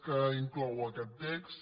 que inclou aquest text